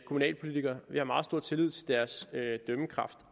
kommunalpolitikere vi har også meget stor tillid til deres dømmekraft